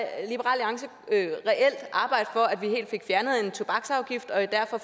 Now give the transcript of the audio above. alliance reelt arbejde for at vi helt fik fjernet en tobaksafgift og derfor